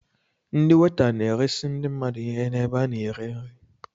Ndị weta na-eresi ndị mmadụ ihe n'ebe a na-ere nri.